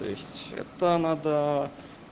то есть это надо